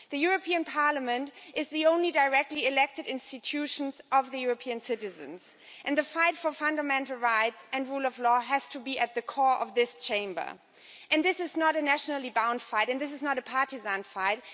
The European Parliament is the only directly elected institution of the European citizens and the fight for fundamental rights and the rule of law has to be at the core of this Chamber. This is not a nationally bound fight and this is not a partisan fight.